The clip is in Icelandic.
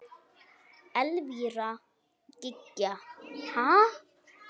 Elvíra Gýgja: Ha?